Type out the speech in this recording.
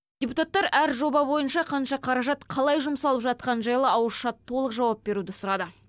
депутаттар әр жоба бойынша қанша қаражат қалай жұмсалып жатқаны жайлы ауызша толық жауап беруді сұрады